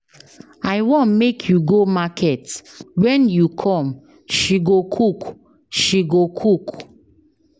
I wan make you go market, wen you come sge go cook sge go cook.